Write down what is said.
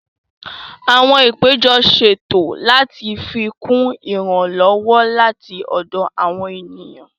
Àwọn àpéjọ ṣètò láti fikún ìrànlọ́wọ́ láti ọ̀dọ̀ àwọn ènìyàn